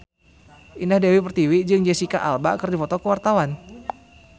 Indah Dewi Pertiwi jeung Jesicca Alba keur dipoto ku wartawan